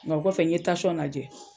Ŋa o kɔfɛ n ye tasɔn najɛ